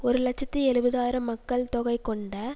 ஒரு இலட்சத்தி எழுபது ஆயிரம் மக்கள் தொகை கொண்ட